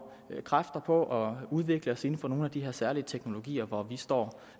kræfter på at udvikle os inden for nogle af de her særlige teknologier hvor vi står